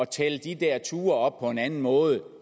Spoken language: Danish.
tælle de der ture op på en anden måde